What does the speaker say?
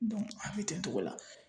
a bɛ ten togo la.